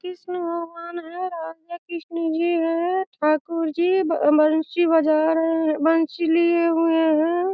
कृष्ण भगवान हैं राधे-कृष्ण जी हैं ठाकुर जी ब बंसी बजा रहे हैं बंसी लिऐ हुए हैं।